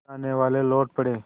जानेवाले लौट पड़े